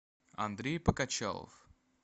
андрей покачалов